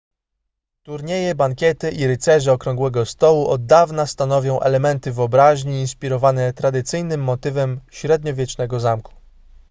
turnieje bankiety i rycerze okrągłego stołu od dawna stanowią elementy wyobraźni inspirowane tradycyjnym motywem średniowiecznego zamku